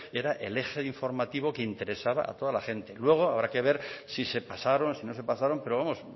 era el eje informativo que interesaba a toda la gente luego habrá que ver si se pasaron si no se pasaron pero vamos